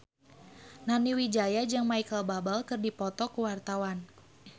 Nani Wijaya jeung Micheal Bubble keur dipoto ku wartawan